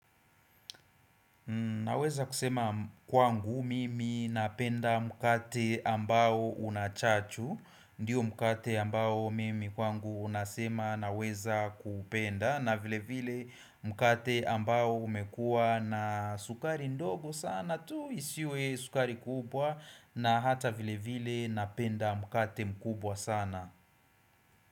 Naweza kusema kwangu mimi napenda mkate ambao unachachu, ndiyo mkate ambao mimi kwangu unasema naweza kuupenda, na vile vile mkate ambao umekua na sukari ndogo sana tu isiwe sukari kubwa, na hata vile vile napenda mkate mkubwa sana.